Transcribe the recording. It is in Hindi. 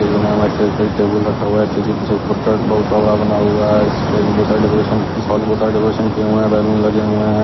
टेबूल रखा हुआ है डेकोरेशन किए हुए हैं बैलून लगे हुएं हैं।